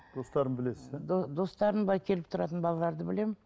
достарын білесіз иә достарын былай келіп тұратын балаларды білемін